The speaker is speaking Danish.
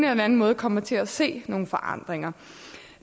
den anden måde kommer til at se nogle forandringer